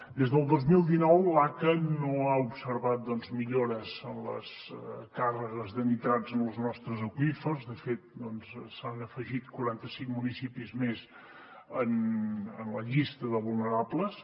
des del dos mil dinou l’aca no ha observat millores en les càrregues de nitrats en els nostres aqüífers de fet s’han afegit quarantacinc municipis més en la llista de vulnerables